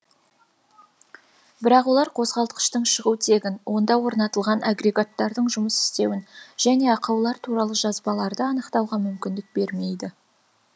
бірақ олар қозғалтқыштың шығу тегін онда орнатылған агрегаттардың жұмыс істеуін және ақаулар туралы жазбаларды анықтауға мүмкіндік бермейді